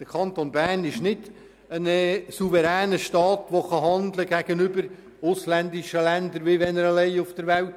Der Kanton Bern ist kein souveräner Staat, der gegenüber ausländischen Ländern auftreten kann, als wäre er alleine auf der Welt.